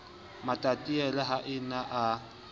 matatiele ha a ne a